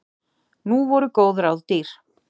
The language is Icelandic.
Nú voru góð ráð dýr.